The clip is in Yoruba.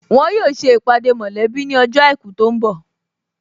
Wọn yóò ṣe ìpàdé mọ̀lẹ́bí ní ọjọ́ àìkú tó ń bọ̀